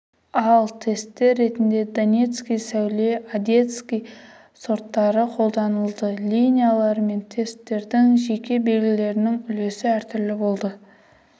ал тесттер ретінде донецкий сәуле одесский сорттары қолданылды линиялар мен тесттердің жеке белгілерінде үлесі әртүрлі болды